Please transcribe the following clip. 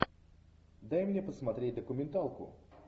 дай мне посмотреть документалку